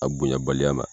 A bonyabaliya ma